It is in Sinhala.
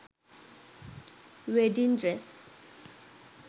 wedding dress